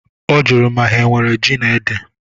Ọ jụrụ ma ha enwere ji na ede?